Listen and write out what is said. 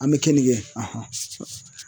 An bɛ kenige kɛ